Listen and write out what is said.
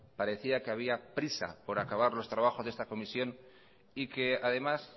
parecía que había prisa por acabar los trabajos de esta comisión y que además